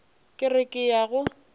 ke re ke ya go